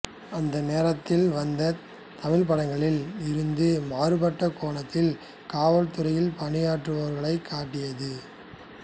அந்நேரத்தில் வந்த தமிழ் படங்களில் இருந்து மாறுபட்ட கோணத்தில் காவல்துறையில் பணியாற்றுபவர்களைக் காட்டியது